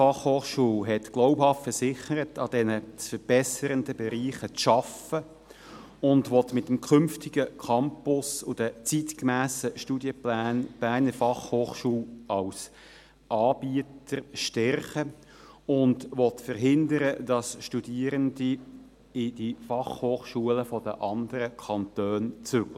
Die Leitung der BFH hat glaubhaft versichert, an diesen zu verbessernden Bereichen zu arbeiten, will mit dem künftigen Campus und den zeitgemässen Studienplänen die BFH als Anbieter stärken und will verhindern, dass Studierende in die Fachhochschulen der anderen Kantone zügeln.